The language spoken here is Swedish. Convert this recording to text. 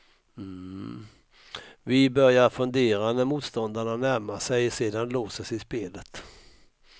Vi börjar fundera när motståndarna närmar sig, sedan låser sig spelet.